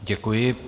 Děkuji.